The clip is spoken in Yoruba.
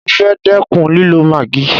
Mo fẹ́ dẹ́kun lílọ maagí.